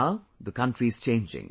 Now, the country is changing